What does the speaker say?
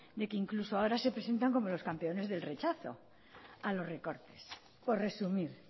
de que ahora incluso se presentan como los campeones del rechazo a los recortes por resumir